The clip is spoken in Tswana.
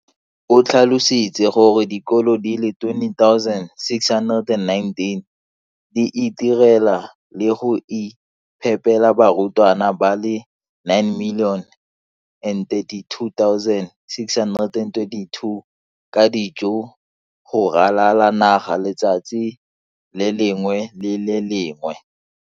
O tlhalositse gore dikolo di le 20 619 di itirela le go iphepela barutwana ba le 9 032 622 ka dijo go ralala naga letsatsi le lengwe le le lengwe.